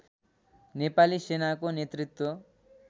नेपाली सेनाको नेतृत्व